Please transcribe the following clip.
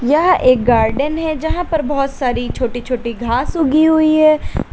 यह एक गार्डन है जहां पर बहुत सारी छोटी छोटी घास उगी हुई है।